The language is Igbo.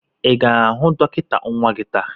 Ị ga-ahụ dọkịta nwa gị taa?